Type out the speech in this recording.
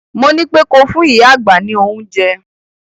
Mo ní pé ko fún ìyá àgbà ní oúnjẹ!